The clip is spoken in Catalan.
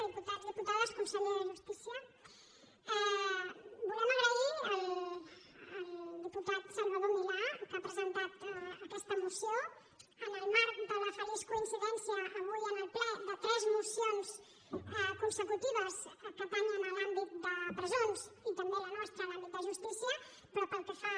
diputats diputades conseller de justícia volem agrair al diputat salvador milà que ha presentat aquesta moció en el marc de la feliç coincidència avui en el ple de tres mocions consecutives que afecten l’àmbit de presons i també la nostra en l’àmbit de justícia però pel que fa a